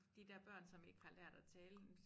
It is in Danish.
De dér børn som ikke har lært at tale jamen så